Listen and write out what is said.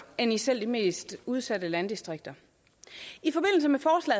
end i selv de mest udsatte landdistrikter